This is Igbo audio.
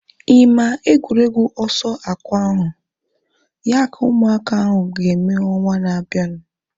Ị maa egwuregwu ọsọ akwa ahu? Ya ka ụmụaka ahu ga-eme ọnwa na-abianu